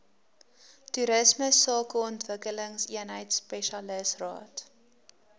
toerisme sakeontwikkelingseenheid spesialisraad